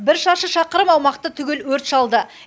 бір шаршы шақырым аумақты түгел өрт шалды